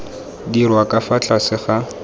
dirwa ka fa tlase ga